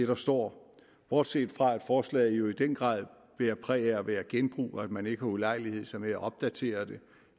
der står bortset fra at forslaget jo i den grad bærer præg af at være genbrug at man ikke har ulejliget sig med at opdatere det